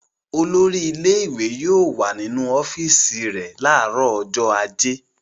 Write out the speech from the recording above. Olórí ilé-ìwé yóò wà nínu ọ́fíísì rẹ̀ láàárọ̀ ọjọ́ ajé.